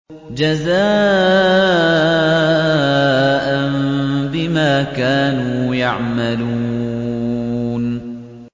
جَزَاءً بِمَا كَانُوا يَعْمَلُونَ